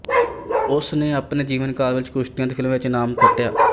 ਉਨਾ ਨੇ ਆਪਣੇ ਜੀਵਨ ਕਾਲ ਵਿੱਚ ਕੁਸ਼ਤੀਆਂ ਅਤੇ ਫ਼ਿਲਮਾ ਵਿੱਚ ਨਾਮ ਖੱਟਿਆ